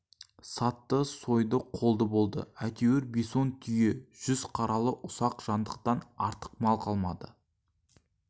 сатты сойды қолды болды әйтеуір бес-он түйе жүз қаралы ұсақ жандықтан артық мал қалмады